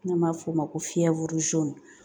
N'an b'a f'o ma ko fiyɛ